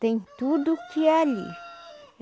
Tem tudo que é ali.